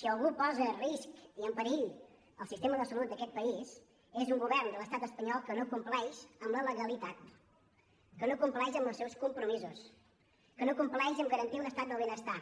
si algú posa en risc i en perill el sistema de salut d’aquest país és un govern de l’estat espanyol que no compleix la legalitat que no compleix els seus compromisos que no compleix a l’hora de garantir un estat del benestar